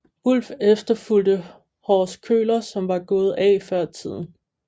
Wulff efterfulgte Horst Köhler som var gået af før tiden